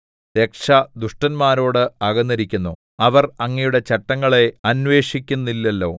രക്ഷ ദുഷ്ടന്മാരോട് അകന്നിരിക്കുന്നു അവർ അങ്ങയുടെ ചട്ടങ്ങളെ അന്വേഷിക്കുന്നില്ലല്ലോ